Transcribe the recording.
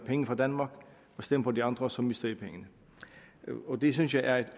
penge fra danmark og stem på de andre så mister i pengene det synes jeg er et